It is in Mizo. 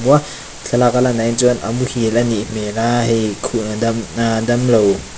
thlalak a a lan dan ah hi chuan a muhil a nih hmel a hei khua dam ahh damlo.